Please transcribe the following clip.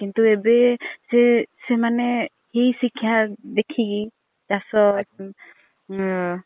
କିନ୍ତୁ ଏବେ ସେମାନେ ଏଇ ସିକ୍ଷା ଦେଖିକି ଚାଷ ଉମ୍